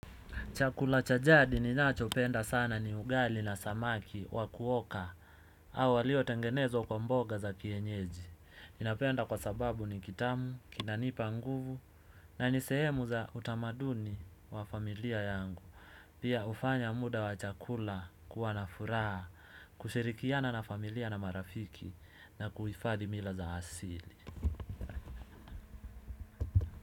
Chakula cha jadi ninachopenda sana ni ugali na samaki wa kuoka au walio tengenezwa kwa mboga za kienyeji ninapenda kwa sababu ni kitamu, kinanipa nguvu na nisehemu za utamaduni wa familia yangu pia hufanya muda wa chakula kuwa na furaha kushirikiana na familia na marafiki na kuhifadhi mila za asili.